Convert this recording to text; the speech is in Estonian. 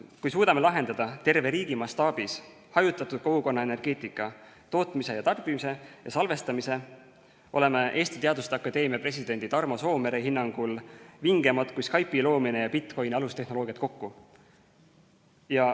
Kui suudame lahendada terve riigi mastaabis hajutatud kogukonna energeetika, tootmise ja tarbimise ning salvestamise, oleme Eesti Teaduste Akadeemia presidendi Tarmo Soomere hinnangul vingemad kui Skype'i loomine ja bitcoin'i alustehnoloogiad kokku.